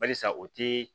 Balisa u ti